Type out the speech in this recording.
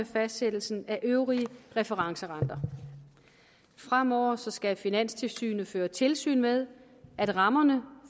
fastsættelsen af øvrige referencerenter fremover skal finanstilsynet føre tilsyn med at rammerne